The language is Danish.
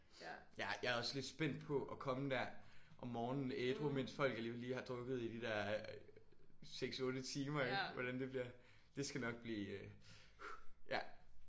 Ja. Jeg er også lidt spændt på at komme der om morgenen ædru mens folk alligevel lige har drukket i de der 6 8 timer ik? Hvordan det bliver. Det skal nok blive ja